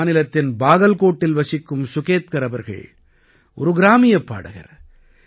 இந்த மாநிலத்தின் பாகல்கோட்டில் வசிக்கும் சுகேத்கர் அவர்கள் ஒரு கிராமியப் பாடகர்